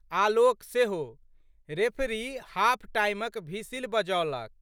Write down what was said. आलोक सेहो। Referee half टाइमक भिसिल बजौलक।